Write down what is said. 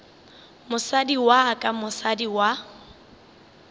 mosadi wa ka mosadi wa